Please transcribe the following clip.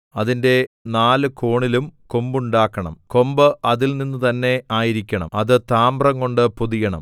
അതിന്റെ നാല് കോണിലും കൊമ്പുണ്ടാക്കണം കൊമ്പ് അതിൽനിന്ന് തന്നേ ആയിരിക്കണം അത് താമ്രംകൊണ്ട് പൊതിയണം